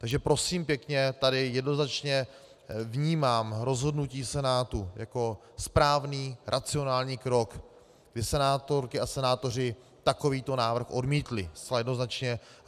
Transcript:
Takže prosím pěkně, tady jednoznačně vnímám rozhodnutí Senátu jako správný, racionální krok, kdy senátorky a senátoři takovýto návrh odmítli, zcela jednoznačně.